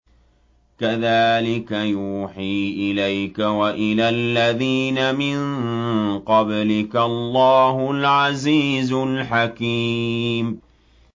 كَذَٰلِكَ يُوحِي إِلَيْكَ وَإِلَى الَّذِينَ مِن قَبْلِكَ اللَّهُ الْعَزِيزُ الْحَكِيمُ